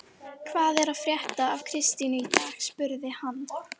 Hvað er að frétta af Kristínu í dag? spurði hann.